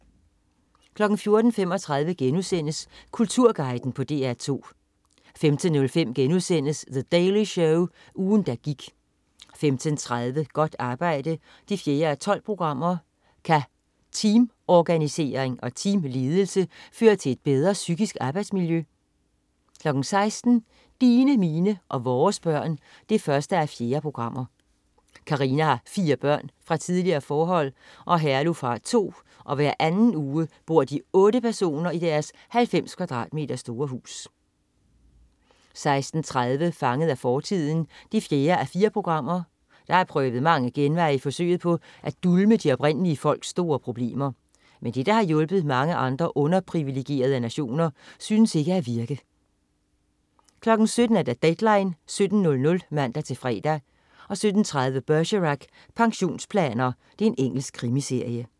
14.35 Kulturguiden på DR2* 15.05 The Daily Show. Ugen, der gik* 15.30 Godt arbejde 4:12. Kan teamorganisering og teamledelse føre til et bedre psykisk arbejdsmiljø? 16.00 Dine, mine og vores børn 1:4. Karina har fire børn fra tidligere forhold, og Herluf har to, og hver anden uge bor de otte personer i deres 90 m2 store hus 16.30 Fanget i fortiden 4:4. Der er prøvet mange genveje i forsøget på at dulme de oprindelige folks store problemer. Men det, der har hjulpet mange andre underprivilegerede nationer, synes ikke at virke 17.00 Deadline 17.00 (man-fre) 17.30 Bergerac: Pensionsplaner. Engelsk krimiserie